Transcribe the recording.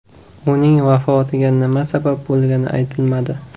Uning vafotiga nima sabab bo‘lgani aytilmadi.